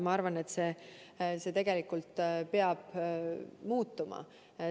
Ma arvan, et see peab muutuma.